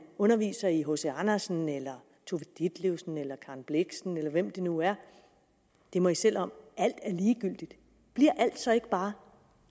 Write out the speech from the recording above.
underviser i hc andersen tove ditlevsen eller karen blixen eller hvem det nu er må i selv om alt er ligegyldigt bliver alt så ikke bare